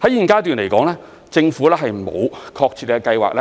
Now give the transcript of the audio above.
在現階段，政府沒有確切計劃